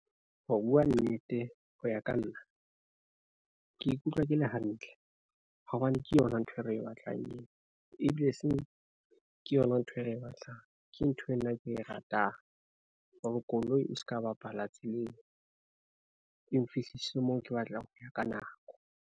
Ho bua nnete, ho ya ka nna ke ikutlwa ke le hantle hobane ke yona ntho e re e batlang eo ebile e seng ke yona ntho e re e batlang. Ke ntho eo nna ke e ratang hore koloi e ska bapala tseleng e nfihlise moo ke batlang ho ya ka nako.